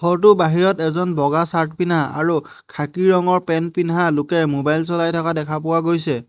ঘৰটোৰ বাহিৰত এজন বগা চাৰ্ট পিন্ধা আৰু খাকী ৰঙৰ পেন্ট পিন্ধা লোকে মোবাইল চলাই থকা দেখা পোৱা গৈছে।